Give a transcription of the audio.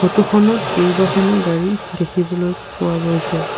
ফটোখনত কেইবাখনো গাড়ী দেখিবলৈ পোৱা গৈছে।